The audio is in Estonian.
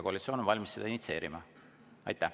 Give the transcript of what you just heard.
Koalitsioon on valmis seda initsieerima.